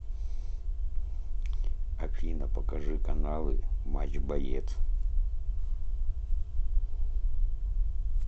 афина покажи каналы матч боец